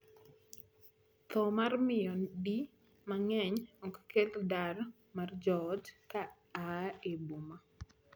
Thoo mar miyo di mang'eny ok kel dar mar joot ka aa e boma.